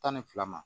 Tan ni fila ma